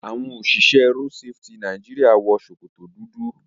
Àwọn òṣìṣẹ́ road safety Nàìjíríà wọ sokoto dúdú